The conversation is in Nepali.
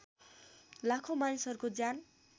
लाखौँ मानिसहरूको ज्यान